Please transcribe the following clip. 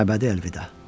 Əbədi əlvida.